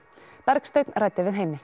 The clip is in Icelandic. Bergsteinn ræddi við Heimi